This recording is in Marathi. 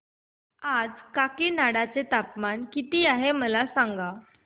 आज काकीनाडा चे तापमान किती आहे मला सांगा